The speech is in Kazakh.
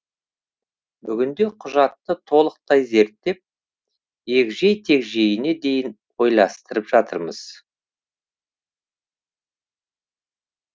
бүгінде құжатты толықтай зерттеп егжей тегжейіне дейін ойластырып жатырмыз